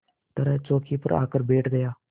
तरह चौकी पर आकर बैठ गया